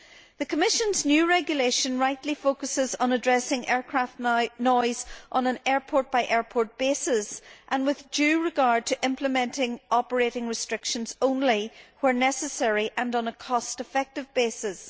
The Commission's new regulation rightly focuses on addressing aircraft noise on an airport by airport basis and with due regard to implementing operating restrictions only where necessary and on a cost effective basis.